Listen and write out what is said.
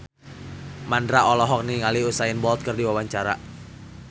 Mandra olohok ningali Usain Bolt keur diwawancara